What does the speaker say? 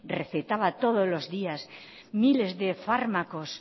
recetaba todos los días miles de fármacos